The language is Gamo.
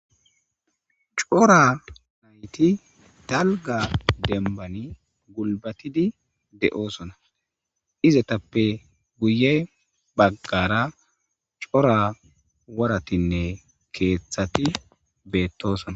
cora nayti dalga dembani gulbatidi de7osona izetappe guye baggara cora waratinne keeththati beettosona